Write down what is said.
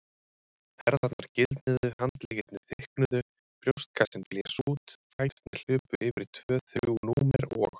Herðarnar gildnuðu, handleggirnir þykknuðu, brjóstkassinn blés út, fæturnir hlupu yfir tvö þrjú númer og.